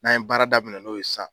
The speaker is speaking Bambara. N'an ye baara daminɛ n'o ye san